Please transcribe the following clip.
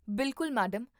ਬਿਲਕੁਲ, ਮੈਡਮ